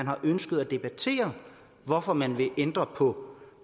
har ønsket at debattere hvorfor man vil ændre på